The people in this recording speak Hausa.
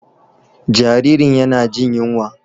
Jaririn yana jin yunwa.